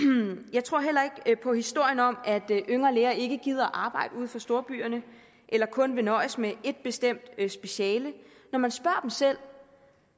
jeg tror heller ikke på historien om at yngre læger ikke gider at arbejde uden for storbyerne eller kun vil nøjes med et bestemt speciale når man spørger selv